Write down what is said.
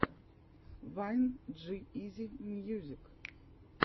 вайн джи изи мьюзик